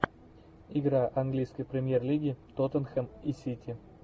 игра английской премьер лиги тоттенхэм и сити